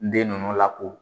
den ninnu la ko